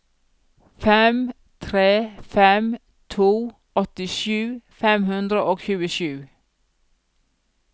fem tre fem to åttisju fem hundre og tjuesju